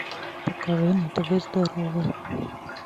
покажи на тв здоровое